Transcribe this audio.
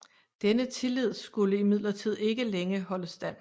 Denne tillid skulde imidlertid ikke længe holde stand